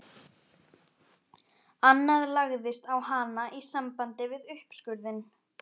Annað lagðist á hana í sambandi við uppskurðinn.